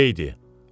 Elə idi.